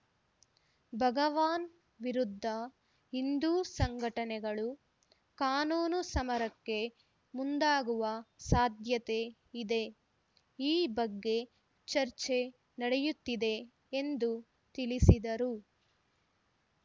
ಭಗವಾನ್‌ ವಿರುದ್ಧ ಹಿಂದೂ ಸಂಘಟನೆಗಳು ಕಾನೂನು ಸಮರಕ್ಕೆ ಮುಂದಾಗುವ ಸಾಧ್ಯತೆ ಇದೆ ಈ ಬಗ್ಗೆ ಚರ್ಚೆ ನಡೆಯುತ್ತಿದೆ ಎಂದು ತಿಳಿಸಿದರು